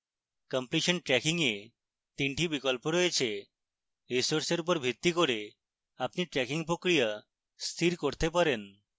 completion tracking এ 3 টি বিকল্প রয়েছে